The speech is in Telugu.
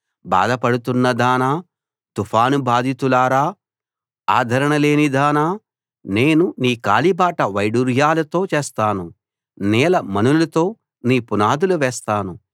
బాధపడుతున్న దానా తుఫాను బాధితురాలా ఆదరణలేనిదానా నేను నీ కాలిబాట వైడూర్యాలతో చేస్తాను నీలమణులతో నీ పునాదులు వేస్తాను